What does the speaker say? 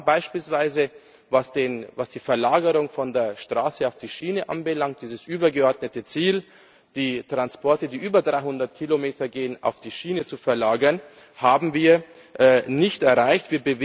Wir haben beispielsweise, was die Verlagerung von der Straße auf die Schiene anbelangt, dieses übergeordnete Ziel, die Transporte, die über 300 Kilometer gehen, auf die Schiene zu verlagern, nicht erreicht.